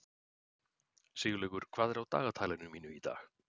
Siglaugur, hvað er á dagatalinu mínu í dag?